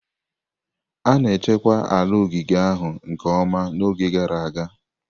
A na-echekwa ala ogige ahụ nke ọma n'oge gara aga.